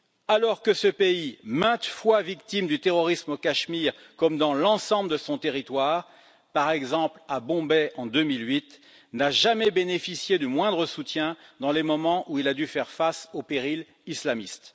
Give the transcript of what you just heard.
Alors que ce pays maintes fois victime du terrorisme au Cachemire, comme dans l'ensemble de son territoire, par exemple à Bombay en 2008, n'a jamais bénéficié du moindre soutien dans les moments où il a dû faire face au péril islamiste.